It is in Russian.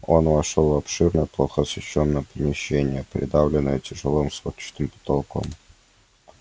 он вошёл в обширное плохо освещённое помещение придавленное тяжёлым сводчатым потолком